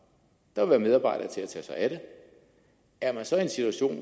der vil være medarbejdere til at tage sig af det er man så i en situation